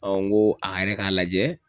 n ko a yɛrɛ k'a lajɛ